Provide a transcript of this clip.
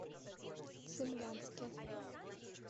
цимлянске